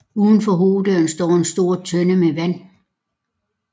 Uden for hoveddøren står en stor tønde med vand